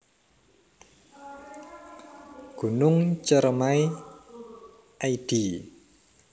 Gunung Ceremai id